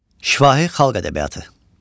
Şifahi xalq ədəbiyyatı.